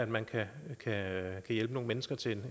man kan hjælpe nogle mennesker til